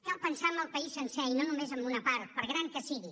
cal pensar en el país sencer i no només en una part per gran que sigui